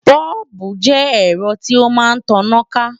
Bọ́ọ̀bù jẹ́ ẹ̀rọ tí ó máa ń taná ká